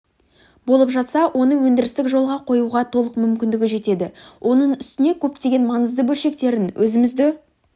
болып жатса оны өндірістік жолға қоюға толық мүмкіндік жетеді оның үстіне көптеген маңызды бөлшектерін өзімізде